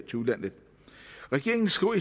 til udlandet regeringen skriver